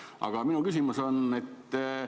Aga minu küsimus on selline.